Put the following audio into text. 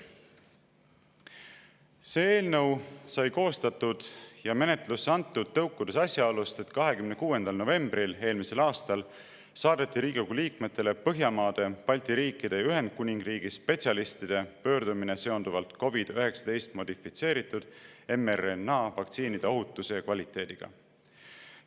See eelnõu sai koostatud ja menetlusse antud tõukudes asjaolust, et 26. novembril eelmisel aastal saadeti Riigikogu liikmetele Põhjamaade, Balti riikide ja Ühendkuningriigi spetsialistide pöördumine seonduvalt COVID‑19 modifitseeritud mRNA vaktsiinide ohutuse ja kvaliteediga.